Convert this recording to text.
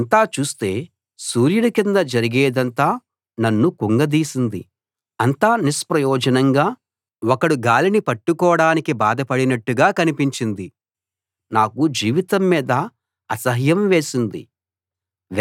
ఇదంతా చూస్తే సూర్యుని కింద జరిగేదంతా నన్ను కుంగదీసింది అంతా నిష్ప్రయోజనంగా ఒకడు గాలిని పట్టుకోడానికి బాధ పడినట్టుగా కనిపించింది నాకు జీవితం మీద అసహ్యం వేసింది